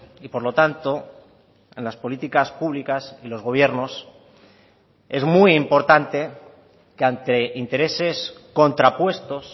y por lo tanto en las políticas públicas y los gobiernos es muy importante que ante intereses contrapuestos